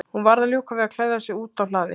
Hún varð að ljúka við að klæða sig úti á hlaði.